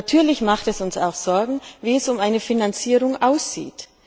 Natürlich macht es uns auch Sorgen, wie es um die Finanzierung aussieht.